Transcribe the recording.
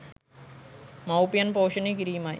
මවුපියන් පෝෂණය කිරීමයි.